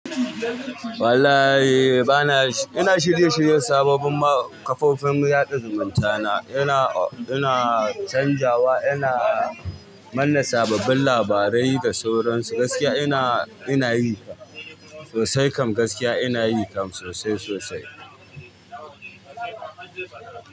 Wallahi bana, ina shirye-shiryen sababbin ma kafofin yaɗa zumunta na ina, ina canjawa, ina manne sababbin labarai da sauransu gaskiya ina, ina yi sosai. Kam gaskiya ina yi kam sosai sosai.